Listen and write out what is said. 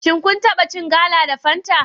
Shin kun taba cin gala da fanta?